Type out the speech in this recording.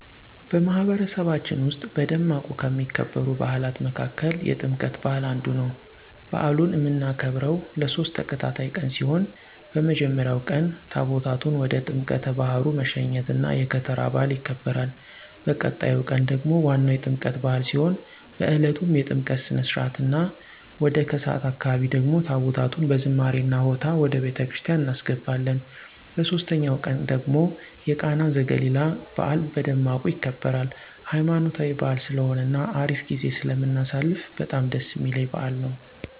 በማህበረሰባችን ዉስጥ በደማቁ ከሚከበሩ በዓላት መካከል የጥምቀት በዓል አንዱ ነው። በአሉን እምናከብረው ለሶስት ተከታታይ ቀን ሲሆን በመጀመሪያው ቀን ታቦታቱን ወደ ጥምቀተ ባህሩ መሸኘት እና የከተራ በዓል ይከበራል። በቀጣዩ ቀን ደግሞ ዋናው የጥምቀት በዓል ሲሆን በእለቱም የጥምቀት ስነ-ስርዓት እና ወደ ከሰዓት አካባቢ ደግሞ ታቦታቱን በዝማሬ እና ሆታ ወደ ቤተክርስቲያን እናስገባለን። በሶስተኛው ቀን ደግሞ የቃና ዘገሊላ በዓል በደማቁ ይከበራል። ሃይማኖታዊ በዓል ስለሆነ እና አሪፍ ጊዜ ስለምናሳልፍ በጣም ደስ እሚለኝ በዓል ነው።